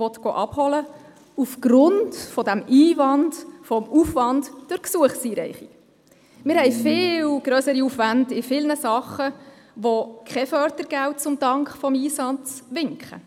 Wir haben in vielen Bereichen viel grössere Aufwände, bei denen keine Fördergelder als Dank für den Einsatz winken.